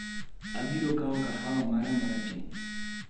Abiro kawo kahawa mara marateng'